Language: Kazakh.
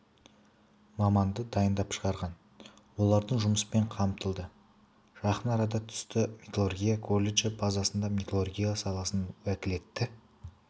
маманды дайындап шығарған олардың жұмыспен қамтылды жақын арада түсті металлургия колледжі базасында металлургия саласының уәкілетті